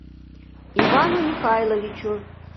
ивану михайловичу